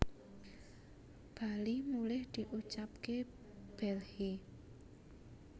bali mulih diucapke bhelhi